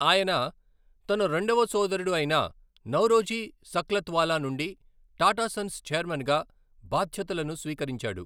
ఆయన తన రెండవ సోదరుడు అయిన నౌరోజీ సక్లత్వాలా నుండి టాటా సన్స్ ఛైర్మన్గా బాధ్యతలను స్వీకరించాడు.